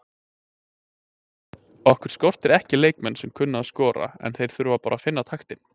Okkur skortir ekki leikmenn sem kunna að skora en þeir þurfa bara að finna taktinn.